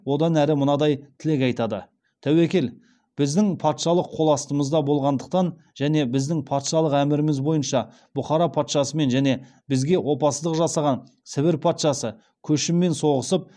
одан әрі мынадай тілек айтады тәуекел біздің патшалық қол астымызда болғандықтан және біздің патшалық әміріміз бойынша бұхара патшасымен және бізге опасыздық жасаған сібір патшасы көшіммен соғысып